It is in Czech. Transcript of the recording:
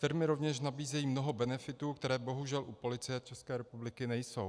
Firmy rovněž nabízejí mnoho benefitů, které bohužel u Policie ČR nejsou.